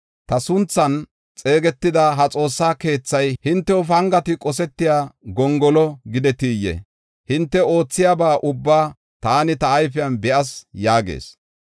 Ta sunthan xeegetida ha Xoossa keethay hintew pangati qosetiya gongolo gidetiyee? Hinte oothiyaba ubbaa taani ta ayfen be7as” yaagees.